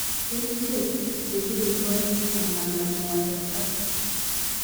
Kerichek chekirindoi mamandaa moet ak